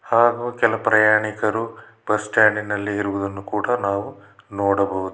ಹಾಗು ಕೆಲ ಪ್ರಯಾಣಿಕರು ಬಸ್ ಸ್ಟಾಂಡಿನಲ್ಲಿ ಇರುವುದನ್ನು ಕೂಡ ನಾವು ನೋಡಬಹುದು.